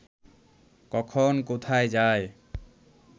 কখন কোথায় যায়